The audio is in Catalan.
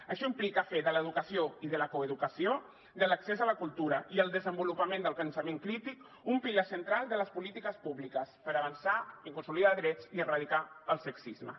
això implica fer de l’educació i de la coeducació de l’accés a la cultura i el desenvolupament del pensament crític un pilar central de les polítiques públiques per avançar en consolidar drets i erradicar el sexisme